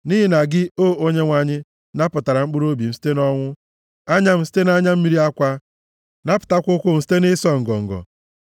Nʼihi na gị, o Onyenwe anyị, napụtara mkpụrụobi m site nʼọnwụ, anya m site na anya mmiri akwa, napụtakwa ụkwụ m site nʼịsọ ngọngọ,